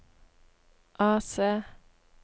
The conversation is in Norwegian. AC